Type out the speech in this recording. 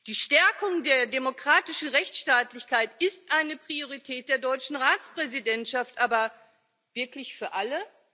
Die Stärkung der demokratischen Rechtsstaatlichkeit ist eine Priorität der deutschen Ratspräsidentschaft aber wirklich für alle?